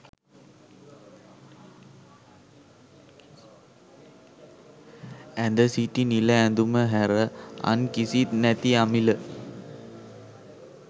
ඇඳ සිටි නිල ඇඳුම හැර අන් කිසිත් නැති අමිල